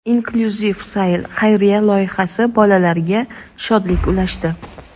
"Inklyuziv sayl" xayriya loyihasi bolalarga shodlik ulashdi.